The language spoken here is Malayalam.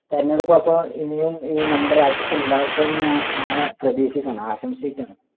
തെരഞ്ഞെടുപ്പ് അപ്പൊ ഇനിയും ഈ നമ്മുടെ രാജ്യത്ത് ഉണ്ടാവട്ടെ എന്ന് ഞാൻ പ്രതീക്ഷിക്കേണ് ആശംസിക്കേണ്